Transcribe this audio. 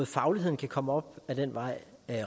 fagligheden kan komme op ad den vej